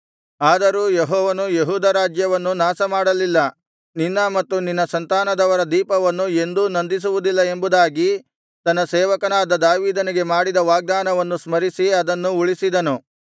ಆದರೂ ಯೆಹೋವನು ಯೆಹೂದ ರಾಜ್ಯವನ್ನು ನಾಶಮಾಡಲಿಲ್ಲ ನಿನ್ನ ಮತ್ತು ನಿನ್ನ ಸಂತಾನದವರ ದೀಪವನ್ನು ಎಂದೂ ನಂದಿಸುವುದಿಲ್ಲ ಎಂಬುದಾಗಿ ತನ್ನ ಸೇವಕನಾದ ದಾವೀದನಿಗೆ ಮಾಡಿದ ವಾಗ್ದಾನವನ್ನು ಸ್ಮರಿಸಿ ಅದನ್ನು ಉಳಿಸಿದನು